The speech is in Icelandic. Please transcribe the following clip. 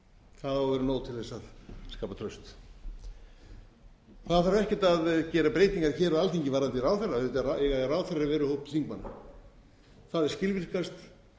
það á að vera nóg til þess að skapa traust það þarf ekkert að gera breytingar hér á alþingi varðandi ráðherra auðvitað eiga ráðherrar að vera úr hópi þingmanna það er skilvirkast